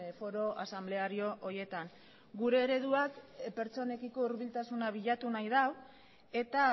foro asanbleario horietan gure ereduak pertsonekiko hurbiltasuna bilatu nahi da eta